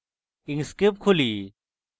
inkscape খুলি